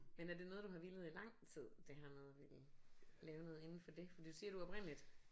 Men er det noget du har villet i lang tid det her med at ville lave noget indenfor det for du siger du oprindeligt